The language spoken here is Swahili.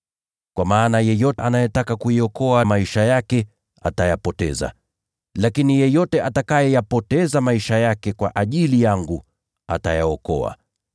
Kwa maana yeyote anayetaka kuyaokoa maisha yake atayapoteza, lakini yeyote atakayeyapoteza maisha yake kwa ajili yangu atayaokoa.